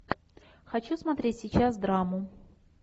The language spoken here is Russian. хочу смотреть сейчас драму